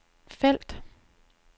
felt